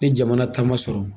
Ne jamana taama sɔrɔ.